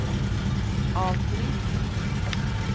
avbryt